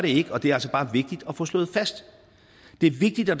ikke og det er altså bare vigtigt at få slået fast det er vigtigt at